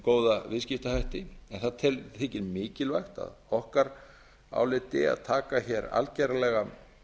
góða viðskiptahætti en það þykir mikilvægt að okkar áliti að taka hér algerlega